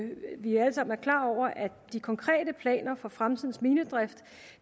de konkrete planer for fremtidens minedrift